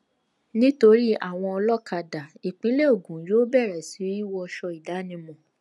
nítorí àwọn olókàdá ìpínlẹ ogun yóò bẹrẹ sí í wọṣọ ìdánimọ